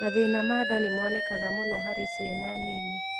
Mathĩna ma nda nĩ monekaga mũno harĩ ciana nini